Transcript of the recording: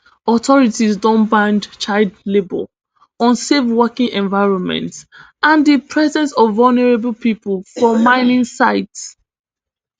authorities don ban child labour unsafe working environments and di presence of vulnerable pipo for mining sites